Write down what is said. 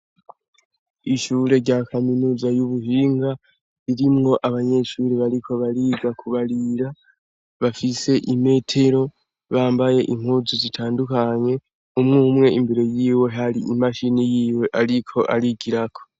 Ishure rya kaminuza y'ubuhinga, irimwo abanyeshure bariko bariga kubarira. Bafise imetero, bambaye impuzu zitandukanye. Umwe umwe imbere y'iwe har'imashini yiwe ariko arigirako.